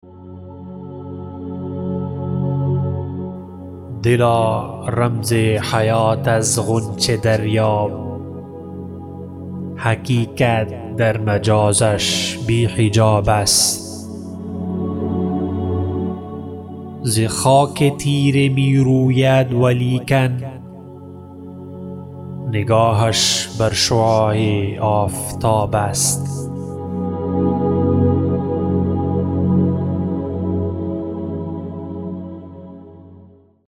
دلا رمز حیات از غنچه دریاب حقیقت در مجازش بی حجاب است ز خاک تیره میروید ولیکن نگاهش بر شعاع آفتاب است